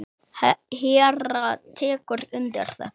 Hera tekur undir þetta.